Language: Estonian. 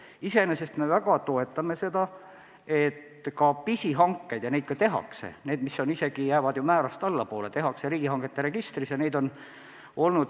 Iseenesest me väga toetame seda, et ka pisihanked – isegi need, mis jäävad määrast allapoole – tehakse riigihangete registris.